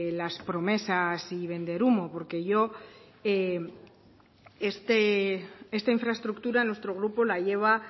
las promesas y vender humo porque esta infraestructura nuestro grupo la lleva